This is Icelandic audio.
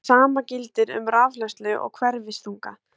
Það sama gildir um rafhleðslu og hverfiþunga.